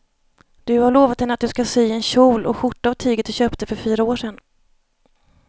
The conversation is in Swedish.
Du har lovat henne att du ska sy en kjol och skjorta av tyget du köpte för fyra år sedan.